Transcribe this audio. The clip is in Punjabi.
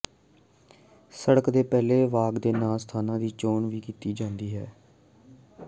ਸੜਕ ਦੇ ਪਹਿਲੇ ਵਾਕ ਦੇ ਨਾਲ ਸਥਾਨਾਂ ਦੀ ਚੋਣ ਵੀ ਕੀਤੀ ਜਾਣੀ ਚਾਹੀਦੀ ਹੈ